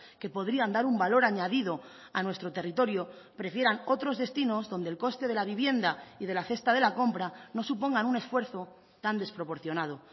que podrían dar un valor añadido a nuestro territorio prefieran otros destinos donde el coste de la vivienda y de la cesta de la compra no supongan un esfuerzo tan desproporcionado